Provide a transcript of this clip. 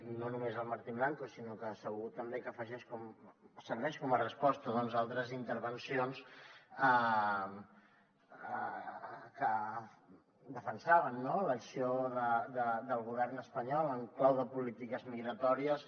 i no només al martín blanco sinó que segur que també serveix com a resposta a altres intervencions que defensaven l’acció del govern espanyol en clau de polítiques migratòries